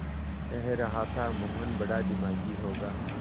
कह रहा था मोहन बड़ा दिमागी होगा